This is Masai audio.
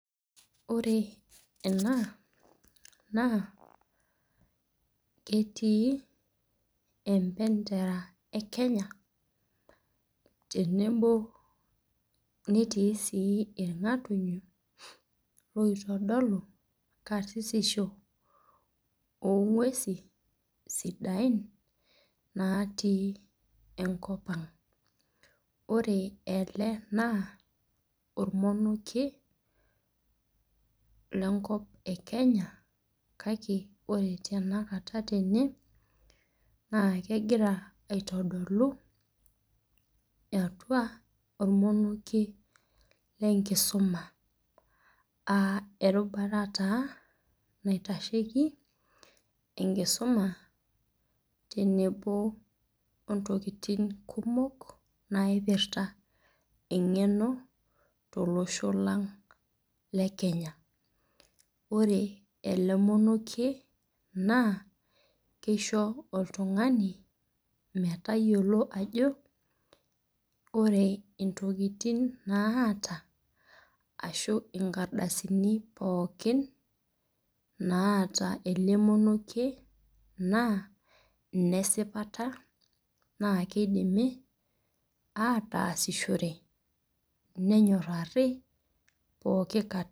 Ore ena, naa ketii empentera e Kenya, netii sii ilng'atunyo oitodolu karsissisho oo ng'uesi sidain natii enkop ang'. Ore ele naa olmonokie le enkop e kenya, kake ore tenakata tene naa kegira aitodolu atua olmonokie le enkisuma aa erubata taa naitasheiki enkisuma tenebo o ntokitin kumok naipirta eng'eno tolosho lang' le Kenya. Ore ele monokie, naa keisho oltung'ani metayiolo ajo ore intokitin naata ashu inkardasini pookin naata ele monokie, naa ine sipata naa keidimi ataasishore, nenyoraari ataasishore pooki kata.